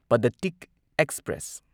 Padatik express